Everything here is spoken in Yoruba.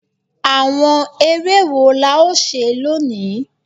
Àwọn eré wo la ó ṣe lónìí?